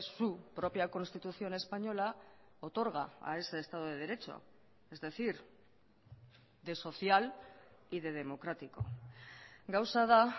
su propia constitución española otorga a ese estado de derecho es decir de social y de democrático gauza da